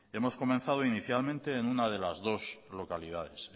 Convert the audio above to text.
hemos comenzado inicialmente en una de las dos localidades